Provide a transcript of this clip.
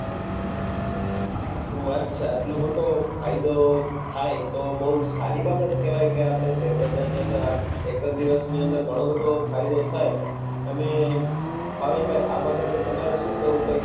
શું વાત છે આટલો બધો ફાયદો થાય તો બવ સારી બાબત કેવાય કે આપડે share બજાર ની અદર આ એક જ દિવસ ની અદર ગણો બધો ફાયદો થાય અને ભાવિનભાઈ આ બાબત એ તમારું શું કેવું કઈંક